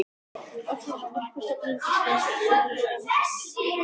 Elliðaám þegar bíllinn nam loks staðar.